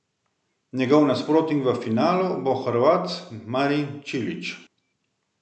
Njegov nasprotnik v finalu bo Hrvat Marin Čilić.